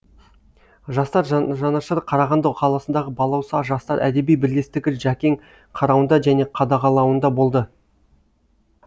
жастар жанашыры қарағанды қаласындағы балауса жастар әдеби бірлестігі жәкең қарауында және қадағалауында болды